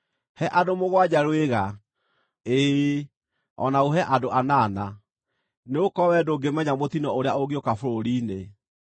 He andũ mũgwanja rwĩga, ĩĩ, o na ũhe andũ anana, nĩgũkorwo wee ndũngĩmenya mũtino ũrĩa ũngĩũka bũrũri-inĩ.